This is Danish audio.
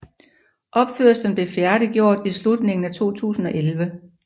Opførslen blev færdiggjort i slutningen af 2011